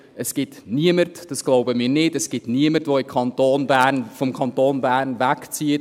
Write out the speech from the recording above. Weil es niemanden gibt – dies glauben wir nicht –, der wegen höheren Liegenschaftssteuern aus dem Kanton Bern wegzieht.